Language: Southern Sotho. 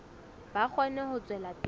ba kgone ho tswela pele